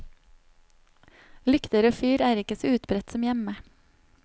Lykter og fyr er ikke så utbredt som hjemme.